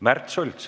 Märt Sults.